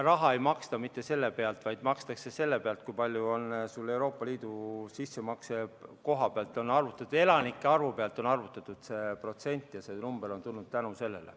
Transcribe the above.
Raha ei maksta mitte selle pealt, vaid makstakse selle pealt, kui suur on Euroopa Liidu sissemakse, elanike arvu pealt on arvutatud see protsent ja see number on tulnud tänu sellele.